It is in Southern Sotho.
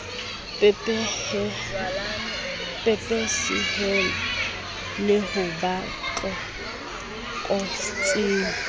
pepesehile le ho ba tlokotsing